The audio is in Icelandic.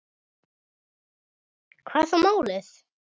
Hvað er þá málið?